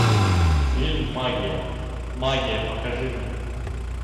фильм магия магия покажи мне